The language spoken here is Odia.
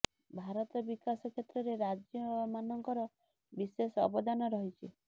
ଭାରତ ବିକାଶ କ୍ଷେତ୍ରରେ ରାଜ୍ୟ ମାନଙ୍କର ବିଶେଷ ଅବଦାନ ରହିଛି